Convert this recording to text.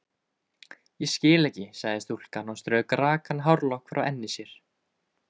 Ég skil ekki sagði stúlkan og strauk rakan hárlokk frá enni sér.